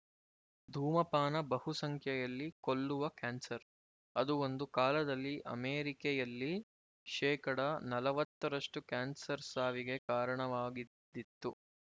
ಧೂಮಪಾನ ಬಹು ಸಂಖ್ಯೆಯಲ್ಲಿ ಕೊಲ್ಲುವ ಕ್ಯಾನ್ಸರ್ ಅದು ಒಂದು ಕಾಲದಲ್ಲಿ ಅಮೆರಿಕೆಯಲ್ಲಿ ಶೇಕಡ ನಲವತ್ತರಷ್ಟು ಕ್ಯಾನ್ಸರ್ ಸಾವಿಗೆ ಕಾರಣವಾಗಿದ್ದಿತು